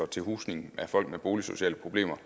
til husning af folk med boligsociale problemer